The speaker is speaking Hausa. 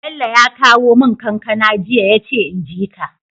Bello ya kawo mun kankAna jiya yace inji ka